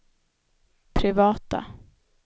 privata